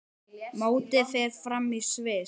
Mótið fer fram í Sviss.